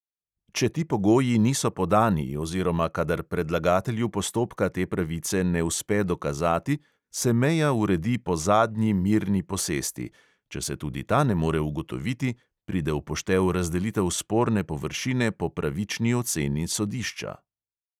Če ti pogoji niso podani oziroma kadar predlagatelju postopka te pravice ne uspe dokazati, se meja uredi po zadnji mirni posesti; če se tudi ta ne more ugotoviti, pride v poštev razdelitev sporne površine po pravični oceni sodišča.